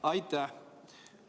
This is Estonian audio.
Aitäh!